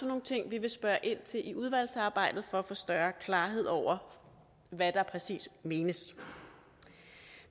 nogle ting vi vil spørge ind til i udvalgsarbejdet for at få større klarhed over hvad der præcis menes